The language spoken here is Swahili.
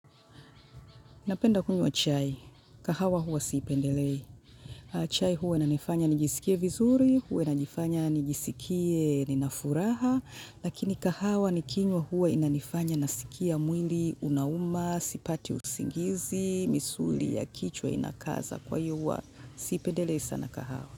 Napenda kunywa chai. Kahawa huwa siipendelei. Chai huwa inanifanya nijisikie vizuri, huwa inanifanya nijisikie nina furaha. Lakini kahawa ni kinywa huwa inanifanya nasikia mwili unauma, sipati usingizi, misuli ya kichwa inakaza kwa hiyo huwa. Siipendelei sana kahawa.